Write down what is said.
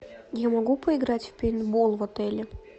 я могу поиграть в пейнтбол в отеле